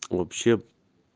вообще